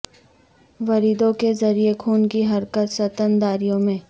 وریدوں کے ذریعے خون کی حرکت ستنداریوں میں